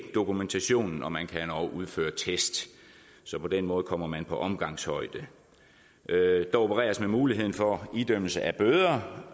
dokumentationen og man kan endog udføre test så på den måde kommer man på omgangshøjde der opereres med muligheden for idømmelse af bøder